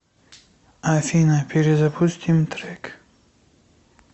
афина перезапустим трек